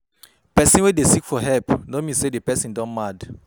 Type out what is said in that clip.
Pesin wey dey seek for help no mean say di pesin don mad